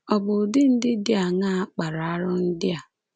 Ọ̀ bụ ụdị ndị dị aṅaa kpara arụ ndị a?